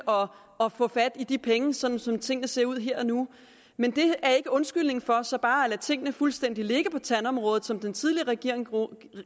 at få fat i de penge sådan som tingene ser ud her og nu men det er ikke en undskyldning for så bare at lade tingene fuldstændig ligge på tandområdet som den tidligere regering